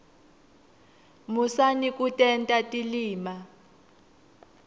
musani kutenta tilima